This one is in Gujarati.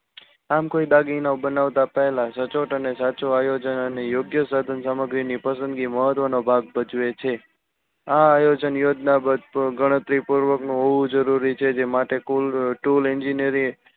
આમ કોઈ દાગીનો બનાવતા પહેલા સચોટ અને સાચું આયોજન અને યોગ્ય સાધન સામગ્રી ની પસંદગી મહત્વ નો ભાગ ભજવે છે. આ આયોજન યોજના ગણતરી પૂર્વક નું હોવું જરૂરી છે જે માટે tool egnineering